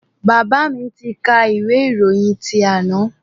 Bàbá mi tí kà ìwé ìròyìn ti àná.